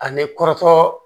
A ni kɔrɔtɔ